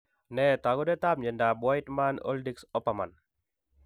Nee taakunetaab myondap wiedemann oldigs oppermann?